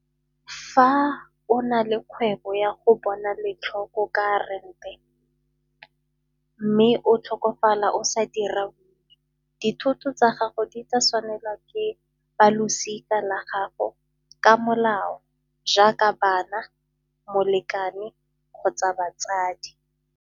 Fa o na le kgwebo ya go bona letlhoko ka rente mme o tlhokofala o sa dira, dithoto tsa gago di tla tshwanela ke ba losika la gago ka molao jaaka bana, molekane kgotsa batsadi.